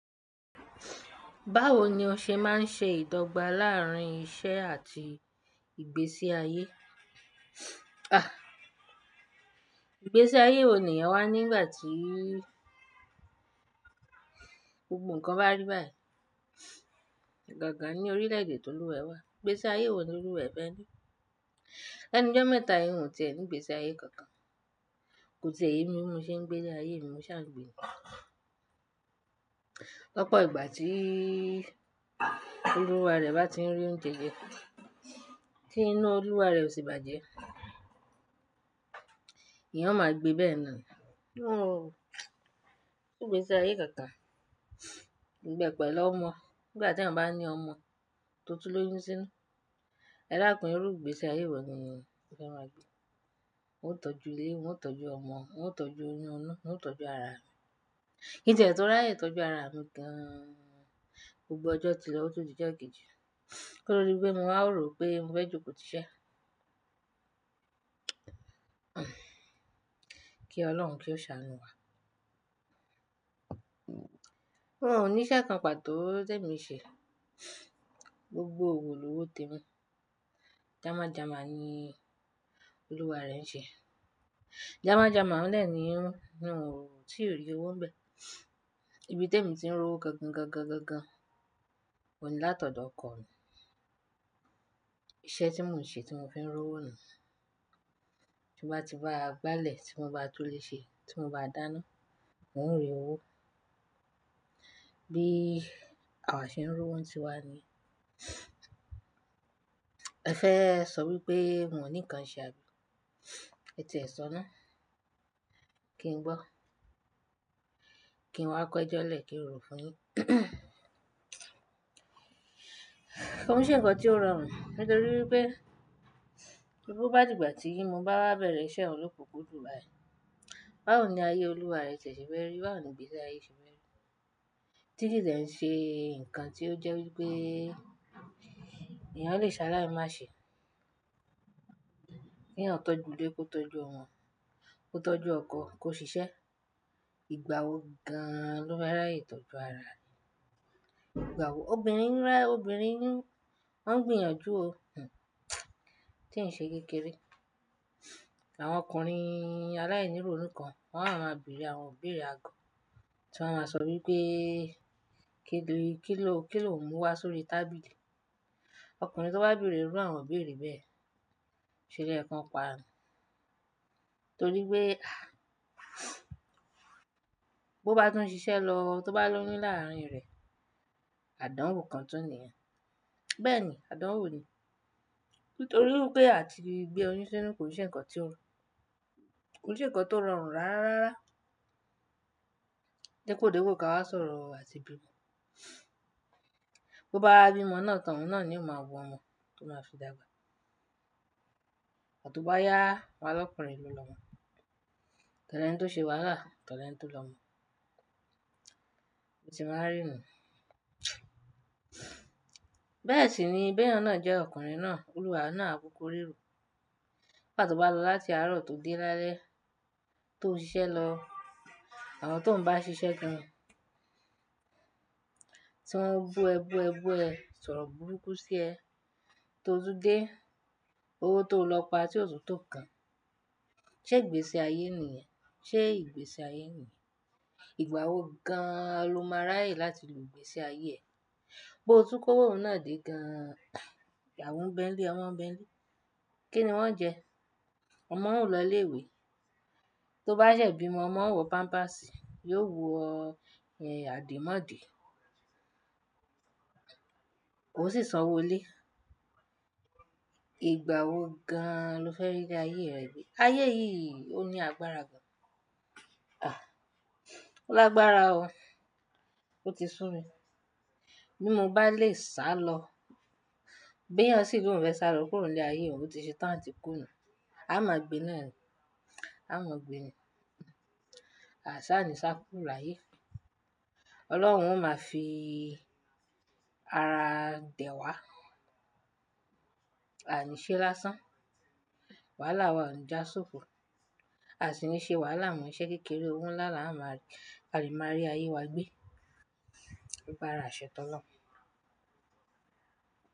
Báwo ni ó ṣe máa ń ṣe ìdọ́gba láàárín iṣẹ́ àti ìgbésí ayé? Ìgbésí ayé wo ni eeyàn wá nígbà tí gbogbo ǹkan bá rí báyìí. Ìgbà kan ní orílẹ̀ èdè tó lúwaẹ́ wà, ìgbésí ayé woní olúwaẹ́ fẹ́ ní. Lẹ́nu jọ́ mẹ́ta yii, n o tiẹ̀ ní ìgbésí ayé kankan. Kò tì è ye mí bi mo ṣe ń gbé ile ayé mí. Mo ṣà ngbèé. Lọ́pọ̀ ìgbà tí olúwa rẹ̀ bá tí ń rí ń jẹjẹ, tí inu olúwa rẹ̀ ò sì bàjẹ́, èèyàn o máa gbe bẹ́ẹ̀ náà. Kò sí ìgbésí ayé kankan. Ìgbẹ́ pẹ̀lú ọmọ, nígbà tí èèyàn bá ní ọmọ tó tú l'óyún sínú, edakun irú igbésí ayé wọ̀ ni èèyàn o fẹ́ máa gbé. Won o tọ́jú ilé, wón o tọ́jú ọmọ, wón o tọ́jú oyún un, wón o tọ́jú ara rẹ̀. Kíin tie tò rayẹ̀ tọ́jú ara mi gan-an, gbogbo ọjọ́ tilo, ó tun di ojo kejì. Ko to di pé mo wáa rò pé mo fẹ́ jókòtí iṣẹ́? Kí Ọlọ́run kí ó ṣàánú wá. Mo ní iṣẹ́ kan pàtó ti ẹ́mi nṣẹ. Gbogbo òwò lówó tèmi. Jàma jàma ni olúwa rẹ̀ ń ṣe. Jàma jàma óun deni, n o ti rí owó ń bẹ. Ibi tèmi ti ń rówó gangan gangan gangan, oun ní látọ̀dọ̀ ọkọ mi. Iṣẹ́ tí mò ń ṣe tí mo fi ń rówó ni. Tí mo bá ti báa gbálẹ̀, tí mo bá tún le ṣe, tí mo bá dáná, n o rí owó. Bí àwa ṣe ń rówó ń ti wá ni. Ẹ fẹ́ sọ wípé n ò ní nǹkan ṣe abi? E tíẹ sọ ná. Kí n gbọ́ Kí n wá kọ́ ẹjọ́ lẹ̀ kí n rò fún yín. Koo se ńkan tí ó rọrùn nítorí wipé, sebobá dìgbà tí ìmo bá wá bẹ̀rẹ̀ iṣẹ́ lokunkundun báyìí, báwo ni ayé olúwa rẹ tie ṣẹ̀ fe rí, báwo ni ìgbésí ayé ṣe fe rí? Tí kii de ṣe nǹkan tí ó jẹ́ wípé èèyàn o lè ṣe aláì Mase. K'èyàn tọ́jú ilé kó tọ́jú ọmọ, kó tọ́jú ọkọ, kó ṣiṣẹ́. Ìgbà wo gan-an ló fe raye ìtọ́jú ara e? Ìgbà wo? Obìnrin ń rẹ́, obìnrin ń, wọ́n ń gbìyànjú o, tí ń ṣe kékeré. Àwọn ọkùnrin aláìníròun kan wọ́n á máa bèrè àwọn ibírẹ̀ agọ̀, tí wọ́n a máa sọ wípé, kí ní, kíló, kíló n múu wa sórí tábìlì? Ọkùnrin tó bá bèrè rú àwọn òbí rẹ̀ bẹ́ẹ̀, ṣẹlo yẹ kan paa ni. Nítorí pé, bó bá tún ṣiṣẹ́ lọ, tó bá lóyún láàárín rẹ̀, àdánwò kan tún nìyẹn. Bẹ́ẹ̀ ni, àdánwò ni. Nítorí wipé àti gbé oyún sínú ko se ńkan tí ó rọrùn. Kò sì ń kọ tí ó rọrùn rárá. Dipo dipo ká wá sọ̀rọ̀ àti bí mo. Bo bá wá bímo náà tán, òun náà ni ó máa wọ ọmọ, tó máa fi dàgbà. Igba tobaya, w'on a l'ọkùnrin ló lọmọ. Oto leni tó ṣe wàhálà, otọ̀ lẹ̀ni tó lọmọ. Bo ti máa n rí nu. Bẹ́ẹ̀ sì ni, beeyan jẹ́ ọkùnrin náà, olúwa oun náà a kúkú rírò. Nigba to bá lọ láti àárọ̀ tó dé lálẹ́, tó ṣiṣẹ́ lọ, àwọn tó ń bá a ṣiṣẹ́ gan-an, tí wọ́n bú ẹ bú ẹ bú ẹ, sọ̀rọ̀ burúkú sí ẹ, tó tún dé, owó tó lọ pa tí ò tún tó nkan. Ṣé ìgbésí ayé nìyẹn? Ṣé ìgbésí ayé nìyẹn? Ìgbà wo gan-an ló máa raye láti lo ìgbésí ayé ẹ? Bo tún kó owó náà dé gan-an. Ìyàwó ń bẹ́ẹ̀ nlé, ọmọ ń bẹ́ẹ̀ nlé. Kí ni wọ́n ń jẹ? Ọmọ òún o lọ ilé ìwé. Tó bá ṣẹ̀ bímo, ọmọ òún o wọ pampásì, yóò wọ àdìmọ́de. Oò sì san owó lé. Ìgbà wo gan-an ló fẹ́ rí ile ayé rẹ̀ gbé? Ayé yìí ò ní agbára gan. Àh! Ó lágbára o. Ó ti sún mi. Bí mo bá lè sá lọ. Bẹ́ẹ̀yan sì ni òun fẹ́ sá lọ kúrò ní ayé òun, ó ti ṣe tán àti kú nù. Aa máa gbé náà ni. Aa máa gbé ni. A sa sì ní kúrò láyé. Ọlọ́run o máa fi ara dẹ̀ wá. Aa o ní í ṣe lásán. Wàhálà wa ò ní já sófò. A sì ní ṣe wàhálà mo iṣẹ́ kékeré òwo nlá la máa kale ma rí ayé wa gbé. L'agbara ase t'Olorun.